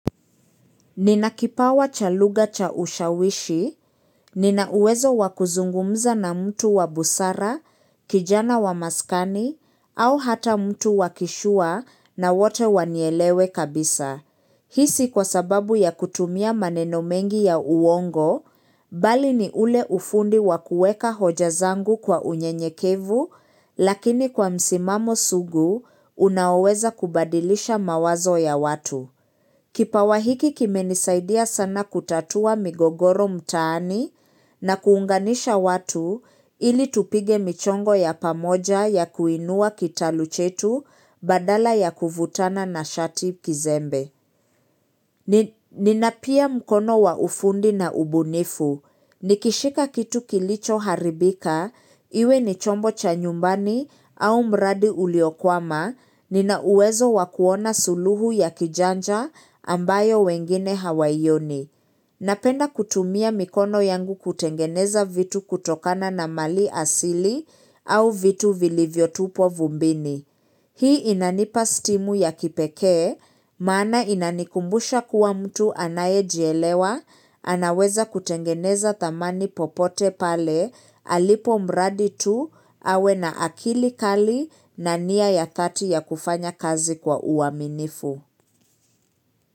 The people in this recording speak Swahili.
Nina kipawa cha lugha cha ushawishi, nina uwezo wakuzungumza na mtu wa busara, kijana wa maskani, au hata mtu wakishua na wote wanielewe kabisa. Hisi kwa sababu ya kutumia maneno mengi ya uongo, bali ni ule ufundi wakueka hoja zangu kwa unye nyekevu, lakini kwa msimamo sugu, unaweza kubadilisha mawazo ya watu. Kipawa hiki kimenisaidia sana kutatua migogoro mtaani na kuunganisha watu ili tupige michongo ya pamoja ya kuinua kitaluchetu badala ya kuvutana na shati kizembe. Nina pia mkono wa ufundi na ubunifu. Nikishika kitu kilicho haribika, iwe ni chombo cha nyumbani au mradi uliokwama, nina uwezo wakuona suluhu ya kijanja ambayo wengine hawayoni. Napenda kutumia mikono yangu kutengeneza vitu kutokana na mali asili au vitu vilivyo tupo vumbini. Hii inanipa stimu ya kipekee, maana inanikumbusha kuwa mtu anayejielewa, anaweza kutengeneza tamani popote pale, alipo mradi tu, awe na akili kali na niya ya thati ya kufanya kazi kwa uaminifu.